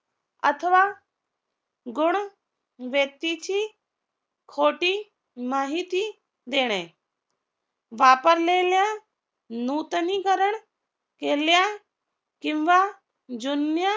अथवा गुण व्यक्ती ची खोटी माहिती देणे वापरलेल्या नूतनीकरण केल्या किंवा जुन्या